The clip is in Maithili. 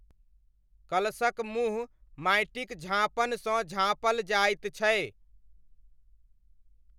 कलशक मुँह माटिक झाँपनसँ झाँपल जाइत छै।